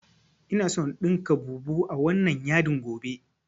Ina so in ɗinka bubu a wannan yadin gobe